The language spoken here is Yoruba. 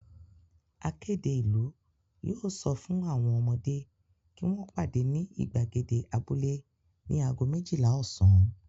Akéde ìlú yóò sọ fún àwọn ọmọdé kí wọ́n pàdé ní ìgbàgede abúlé ní ago méjìlá ọ̀sán.